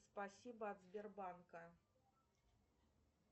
спасибо от сбербанка